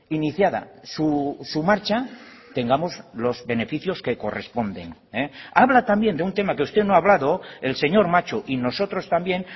iniciada su marcha tengamos los beneficios que corresponden habla también de un tema que usted no ha hablado el señor macho y nosotros también